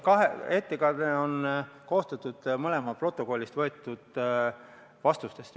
Ettekanne on koostatud mõlemast protokollist võetud vastustest.